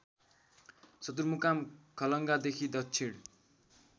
सदरमुकाम खलङ्गादेखि दक्षिण